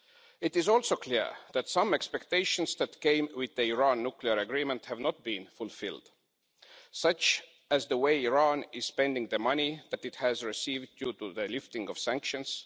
It is also clear that some expectations that came with the Iran nuclear agreement have not been fulfilled, such as the way Iran is spending the money that it has received due to the lifting of sanctions.